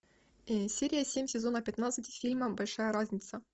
серия семь сезона пятнадцать фильма большая разница